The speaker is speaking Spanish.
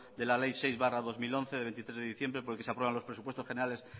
de la ley seis barra dos mil once de veintitrés de diciembre por el que se aprueban los presupuestos generales